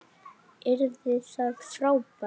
Yrði það frábært?